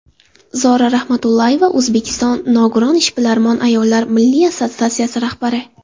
Zora Rahmatullayeva, O‘zbekiston nogiron ishbilarmon ayollar milliy assotsiatsiyasi rahbari.